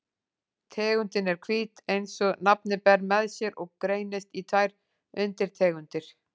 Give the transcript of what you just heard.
Tegundin er hvít eins og nafnið ber með sér og greinist í tvær undirtegundir.